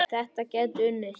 Þetta gæti unnist.